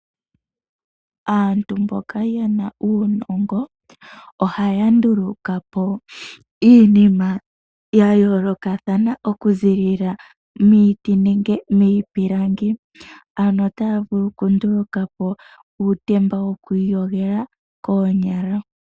Aantu mboka yena uunongo, ohaya nduluka po iinima ya yoolokathana okuzilila miiti nenge miipilangi. Ano otaya vulu okunduluka po uutemba wokwiiyogela koonyala.